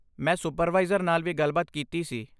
ਮੈਂ ਸੁਪਰਵਾਈਜ਼ਰ ਨਾਲ ਵੀ ਗੱਲਬਾਤ ਕੀਤੀ ਸੀ।